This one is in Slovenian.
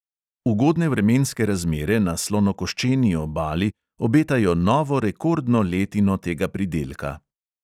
Ugodne vremenske razmere na slonokoščeni obali obetajo novo rekordno letino tega pridelka.